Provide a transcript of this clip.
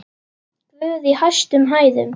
Guð í hæstum hæðum!